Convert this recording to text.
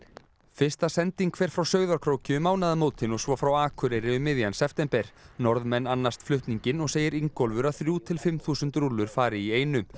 fyrsta sending fer frá Sauðárkróki um mánaðamótin og svo frá Akureyri um miðjan september Norðmenn annast flutninginn og segir Ingólfur að þrjú til fimm þúsund rúllur fari í einu